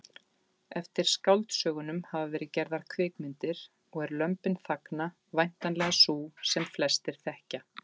Eftir skáldsögunum hafa verið gerðar kvikmyndir og er Lömbin þagna væntanlega sú sem flestir þekkja.